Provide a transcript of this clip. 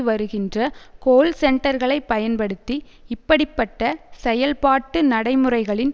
வருகின்ற கோல் சென்டர்களை பயன்படுத்தி இப்படி பட்ட செயல்பாட்டு நடைமுறைகளின்